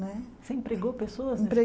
Não é você empregou pessoas nesse Pre